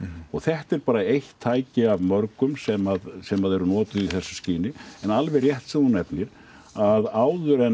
þetta er bara eitt tæki af mörgum sem sem þeir nota í þessu skyni en alveg rétt sem þú nefnir að áður en